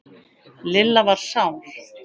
Lilla var sár.